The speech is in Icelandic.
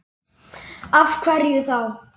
Af hverju þá?